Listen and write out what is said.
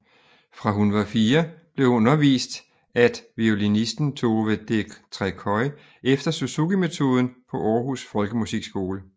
Fra hun var fire år blev hun undervist at violinisten Tove Detreköy efter Suzukimetoden på Århus Folkemusikskole